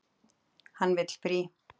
Hann vill frí.